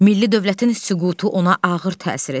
Milli dövlətin süqutu ona ağır təsir edir.